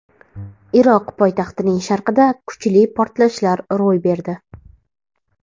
Iroq poytaxtining sharqida kuchli portlashlar ro‘y berdi.